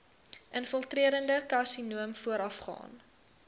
infiltrerende karsinoom voorafgaan